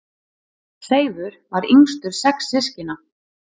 Seifur var yngstur sex systkina.